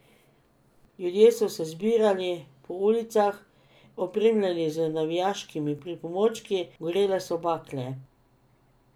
Ljudje so se zbirali po ulicah, opremljeni z navijaškimi pripomočki, gorele so bakle.